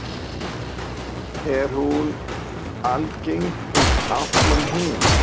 Er hún algeng um allan heim?